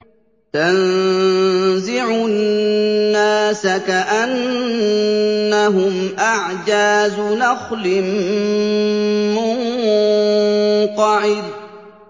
تَنزِعُ النَّاسَ كَأَنَّهُمْ أَعْجَازُ نَخْلٍ مُّنقَعِرٍ